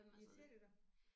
Irriterer det dig?